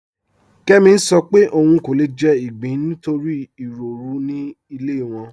Kẹmì ń sọ̀ pé ọún kò lè jẹ̀ igbín nítorí iròrù ni ilẹ̀ wọn.